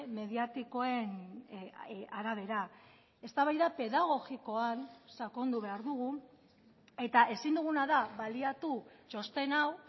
mediatikoen arabera eztabaida pedagogikoan sakondu behar dugu eta ezin duguna da baliatu txosten hau